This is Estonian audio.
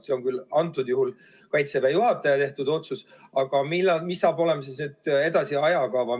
See on küll antud juhul Kaitseväe juhataja tehtud otsus, aga milline saab olema edasine ajakava?